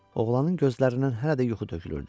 Oğlanın gözlərindən hələ də yuxu tökülürdü.